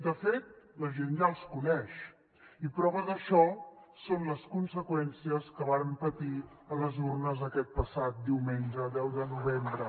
de fet la gent ja els coneix i prova d’això són les conseqüències que varen patir a les urnes aquest passat diumenge deu de novembre